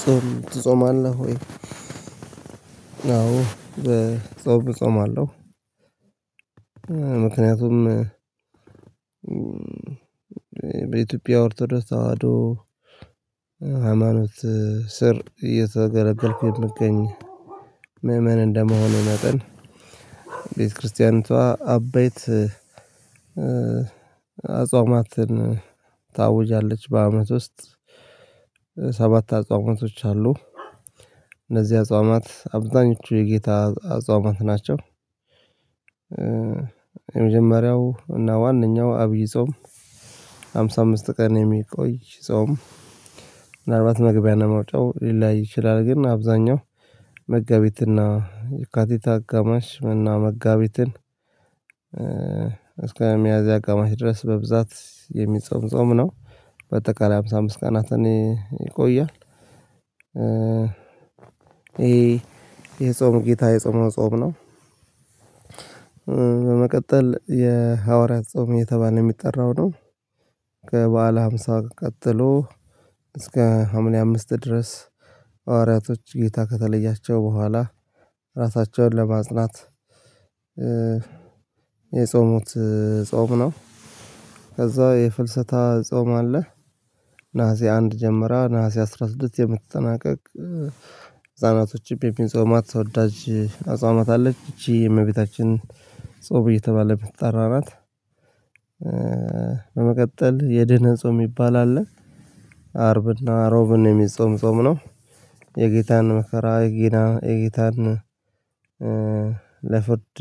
ጾም ትጾማለህ ወይ? አዎ በጾም እጾማለሁ አለው። ምክንያቱም በኢትዮጵያ ወርተር ተደርስ አሃዶ ሃይማኖት ስር እየተገለገልኩኝ ምእመን እንደመሆኑ ነጥብ። ቤተክርስቲያኖች አበይት አጽዋማትን ታውጃለች በአመት ውስጥ ሰባት አጽዋማቶች አሉ። እነዚህ አጽዋማት አብዛኞቹ የጌታ አጽዋማት ናቸው። የመጀመሪያው እና ዋናው አብይ ጾም አምሳ አምስት ቀን የሚቆይ ጾም ምናልባት መግቢያ ነው መውጣው ሊላይ ይችላል። ግን አብዛኛው መጋቢት የካቲት አቀማሽ መና መጋቢትን እስከ ሚያዝያ አቅማጭ ድረስ በብዛት የሚጾም ጾም ነው። በተቃራኒ ሃምሳ አምስት ቀናትን ይቆያል። ይሄ የጾም ጌታ የጾም ጾም ነው። በመቀጠል የሐዋርያት ጾም እየተባለ የሚጠራው ነው። ከበዓለ ሃምሳ ቀጥሎ እስከ ሀምሌ አምስት ድረስ ሐዋርያቶች ጌታ ከተለያቸው በኋላ ራሳቸውን ለማጽናት የጾሙት ጾም ነው። ከዛ የፍልስጥ ጾም አለ። ነሀሴ አንድ ጀምራ ነሀሴ አስራ ስድስት የምትጠናቀቅ ህፃናቶችም የፒንጾማት ሰው ወዳጅ አፍጾማት አለች ይቺ እመቤታችን ጾም እየተባለ ተጠራናት። በመቀጠል የድህነ ጾም ይባላል። አርብና ሮብን የሚጾምጾም ነው። የጌታን መከራ ጊና የጌታን ለፍርድ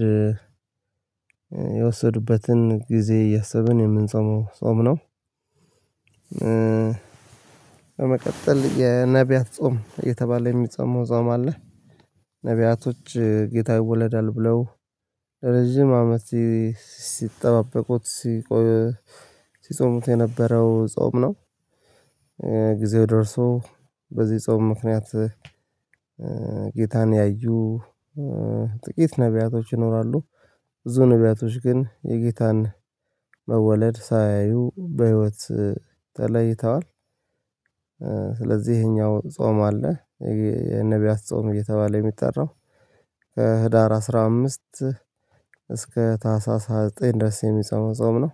የወሰዱበትን ጊዜ እያሰበ ነው የምንጾመው ጾም ነው። በመቀጠል የነብያት ጾም የተባለ የሚጸማው ጾም አለ። ነብያቶች ጌታ ይወለዳል ብለው ረጅም አመት ሲጠባበቁት ሲጾሙት የነበረው ጾም ነው። ጊዜው ደርሶ በዚህ ጾም ምክንያት ጌታን ያዩ ጥቂት ነብያቶች ይኖራሉ ብዙ ነብያቶች ግን የጌታን መወለድ ሳያዩ በህይወት ተለይተዋል። ስለዚህ ይሄኛው ጾም አለ። የነብያት ጾም እየተባለ የሚጠራው ከህዳር አስራ አምስት እስከ ታህሳስ ሃያ ዘጠኝ ድረስ የሚጾም ጾም ነው።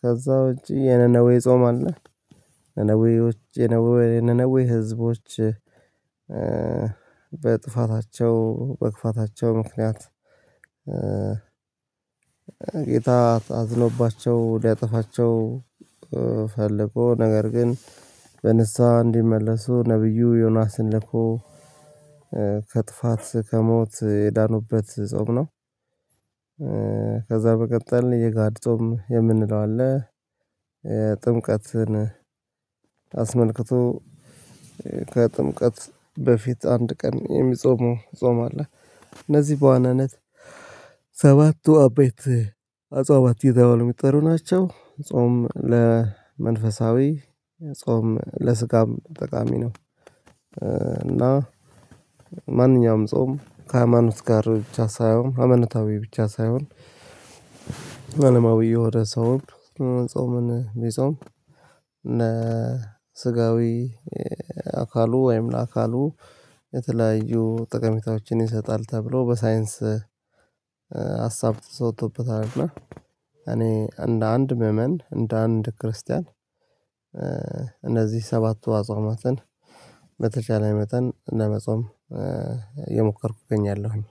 ከዛ እንጂ የነነዌ አለ። የነነዌ የነነዌ ህዝቦች በጥፋታቸው በግፋታቸው ምክንያት ጌታ አዝኖባቸው ሊያጠፋቸው ፈልጎ ነገር ግን በንስሃ እንዲመለሱ ነብዩ ዮናስን ልኮ ከጥፋት ከሞት የዳኑበት ጾም ነው። ከዛ በቀጣል እየጋድጦም የምንለው አለ። ጥምቀትን አስመልክቶ ከጥምቀት በፊት አንድ ቀን የሚጾሙ ጾም አለ። እነዚህ በዋናነት ሰባቱ አቤት አጿባት የሚጠሩ ናቸው ጾም ለመንፈሳዊ ጾም ለስጋም ጠቃሚ ነው። እና ማንኛውም ጾም ከሃይማኖት ጋር ብቻ ሳይሆን አመነታዊ ብቻ ሳይሆን መለማዊ የሆደ ሰው ጾምን ቢጾም እነ ስጋዊ አካሉ ወይም ለአካሉ የተለያዩ ጠቀሜታዎችን ይሰጣል ተብሎ በሳይንስ ሀሳብ ተወጥቶበታል። እና እኔ እንደ አንድ ምዕመን እንደ አንድ ክርስቲያን እነዚህ ሰባቱ አጽዋማትን በተቻለ መጠን ለመጾም የሞከርኩኝ እገኛለሁኝ።